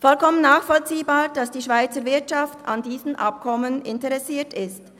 Es ist vollkommen nachvollziehbar, dass die Schweizer Wirtschaft an diesem Abkommen interessiert ist.